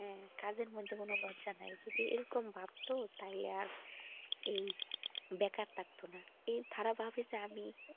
হ্যাঁ কাজের মধ্যে কোনো লজ্জা নাই যদি এরকম ভাবতো তাহলে আর এই বেকার থাকতোনা কিন্তু তারা ভাবে যে আমি,